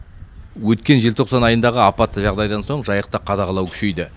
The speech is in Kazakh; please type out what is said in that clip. өткен желтоқсан айындағы апатты жағдайдандан сон жайықта қадағалау күшейді